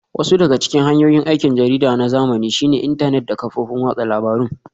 Wasu daga cikin hanyoyin aikin jarida na zamani shine intanet da kafofin watsa labarun